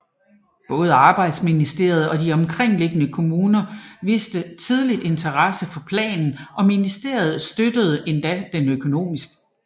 Både arbejdsministeriet og de omkringliggende kommuner viste tidligt interesse for planen og ministeriet støttede den endda økonomisk